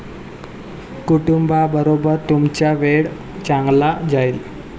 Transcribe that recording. कुटुंबाबरोबर तुमचा वेळ चांगला जाईल.